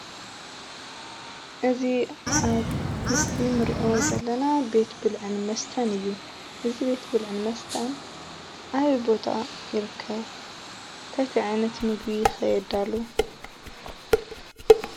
እዚ ኣብ ምስሊ እንርኦ ዘለና ቤት ብልዕን መስተን እዩ፡፡ እዚ ቤት ብልዕን መስተን ኣበይ ቦታ ይርከብ? እንታይ እንታይ ዓይነት ምግቢ ከ የዳልው?